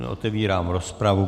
Otevírám rozpravu.